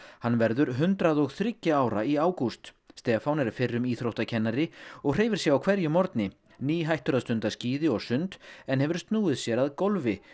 hann verður hundrað og þriggja ára í ágúst Stefán er fyrrum íþróttakennari og hreyfir sig á hverjum morgni nýhættur að stunda skíði og sund en hefur snúið sér að golfi